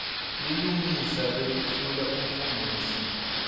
bulungisa bekutfula umfungisi